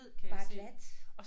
Bare glat